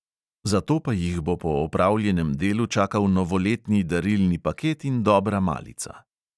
Zato pa jih bo po opravljenem delu čakal novoletni darilni paket in dobra malica.